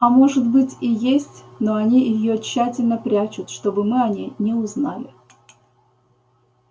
а может быть и есть но они её тщательно прячут чтобы мы о ней не узнали